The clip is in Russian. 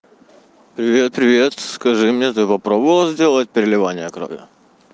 привет привет скажи мне ты попробовала сделать переливание крови